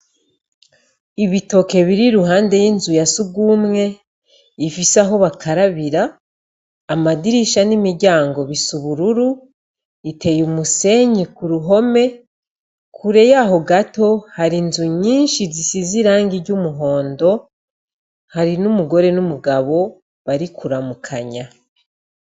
Ibitoke biri ruhande y'inzu ya sugumwe ifise aho bakarabira amadirisha n'imiryango bisubururu iteye umusenyi ku ruhome kure yaho gato hari inzu nyinshi zisize irangi ry'umuhondo hari n'umugore n'umugabo bari kuramukanya.